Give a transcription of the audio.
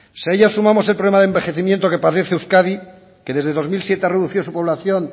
si a ello sumamos el problema de envejecimiento que padece euskadi que desde el dos mil siete ha reducido su población